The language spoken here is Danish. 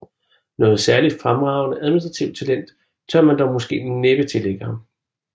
Noget særligt fremragende administrativt talent tør man dog måske næppe tillægge ham